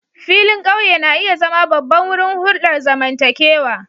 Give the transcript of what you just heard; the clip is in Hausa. Filin ƙauye na iya zama babban wurin hulɗar zamantakewa